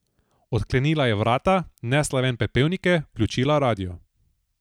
Odklenila je vrata, nesla ven pepelnike, vključila radio.